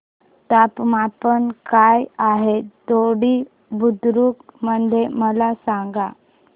तापमान काय आहे दोडी बुद्रुक मध्ये मला सांगा